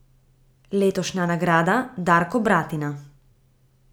Letošnja nagrada Darko Bratina.